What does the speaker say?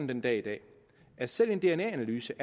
den dag i dag at selv en dna analyse